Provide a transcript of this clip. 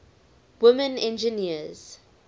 women engineers